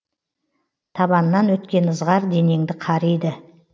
табаннан өткен ызғар денеңді қариды